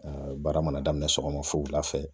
baara mana daminɛ sɔgɔma fo wula fɛ